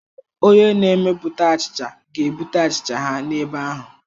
Onye na-emepụta achicha ga-ebute achicha ha n'ebe ahụ.